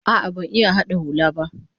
A'a, ban iya hada hula ba